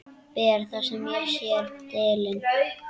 Ber það á sér delinn.